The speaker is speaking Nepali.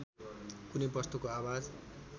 कुनै वस्तुको आवाज